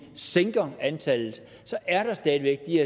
sænker antallet så er der stadig